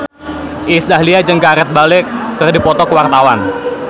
Iis Dahlia jeung Gareth Bale keur dipoto ku wartawan